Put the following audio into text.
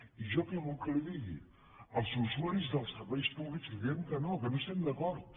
i jo què vol que li digui els usuaris dels serveis públics li direm que no que no hi estem d’acord